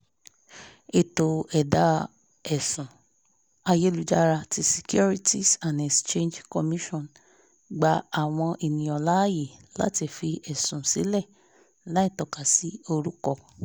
ètò ẹ̀dá-ẹ̀sùn ayélujára ti securities and exchange commission gba àwọn ènìyàn láàyè láti fi ẹ̀sùn sílẹ̀ láìtọ́kasi orúkọ